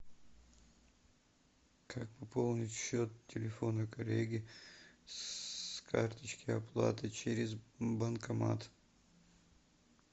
как пополнить счет телефона коллеги с карточки оплаты через банкомат